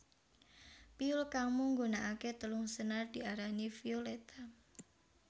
Piyul kang mung nggunakaké telung senar diarani violetta